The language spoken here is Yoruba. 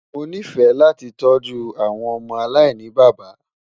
Mọ ní fẹ̀ lati tọju awọn ọmọ aláìnibaba